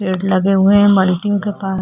पेड़ लगे हुये है मलकिंग के पास --